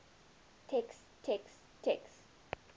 text text text